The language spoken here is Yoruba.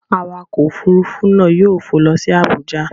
Awakọ̀ òfuurufú náà yóò fò lọ sí Abuja.